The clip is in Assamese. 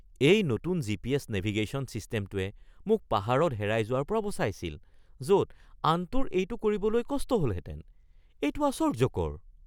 এই নতুন জিপিএছ নেভিগেশ্যন ছিষ্টেমটোৱে মোক পাহাৰত হেৰাই যোৱাৰ পৰা বচাইছিল য'ত আনটোৰ এইটো কৰিবলৈ কষ্ট হ'লহেতেন। এইটো আশ্চৰ্য্যকৰ!